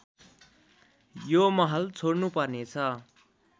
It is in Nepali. यो महल छोड्नुपर्नेछ